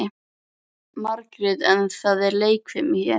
En auðvitað þurftum við að fá okkar umsömdu leigu.